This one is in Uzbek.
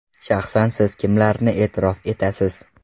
Shaxsan siz kimlarni e’tirof etasiz?